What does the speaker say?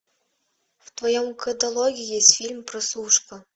в твоем каталоге есть фильм прослушка